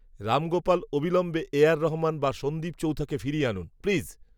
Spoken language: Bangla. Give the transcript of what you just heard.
রামগোপাল, অবিলম্বে এ, আর রহমান, বা সন্দীপ চৌথাকে ফিরিয়ে আনুন, প্লিজ